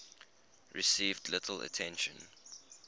received little attention